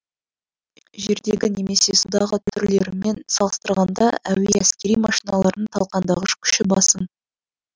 жердегі немесе судағы түрлерімен салыстырғанда әуе әскери машиналарының талқандағыш күші басым